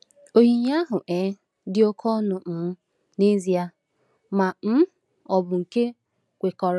Onyinye ahụ um dị oke ọnụ um n’ezie, ma um ọ bụ nke kwekọrọ.